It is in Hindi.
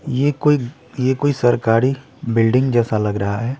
ये कोई ये कोई सरकारी बिल्डिंग जैसा लग रहा है।